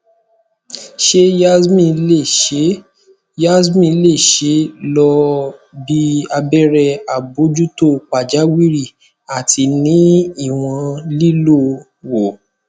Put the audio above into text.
ṣe yasmin le ṣe yasmin le ṣee lo bi abẹrẹ abojuto pajawiri ati ni iwọn lilo wo